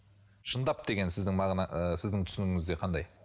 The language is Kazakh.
шындап деген сіздің ыыы сіздің түсінігіңізде қандай